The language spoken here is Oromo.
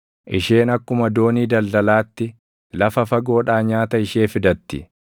Isheen akkuma doonii daldalaatti lafa fagoodhaa nyaata ishee fidatti.